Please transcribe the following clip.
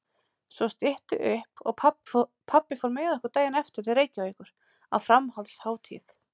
Svo stytti upp og pabbi fór með okkur daginn eftir til Reykjavíkur á framhaldshátíð.